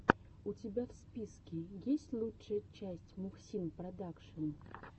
у тебя в списке есть лучшая часть мухсин продакшен